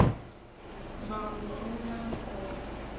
mbangu wu na nkoka